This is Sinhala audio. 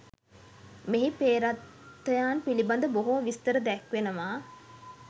මෙහි පේ්‍රතයන් පිළිබඳ බොහෝ විස්තර දැක්වෙනවා.